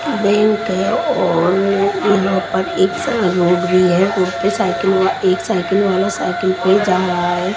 Bank है और यहाँ पर एक भी है उसपे साइकिल वाला एक साइकिल वाला साइकिल पे जा रहा है।